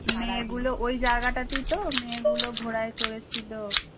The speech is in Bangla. মেয়েগুলো ওই জায়গাটাতেই তো মেয়েগুলো ঘোড়ায় চড়েছিল।